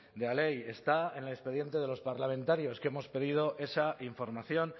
de la ley está en el expediente de los parlamentarios que hemos pedido esa información